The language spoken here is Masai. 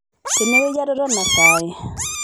tenewueji atotona sai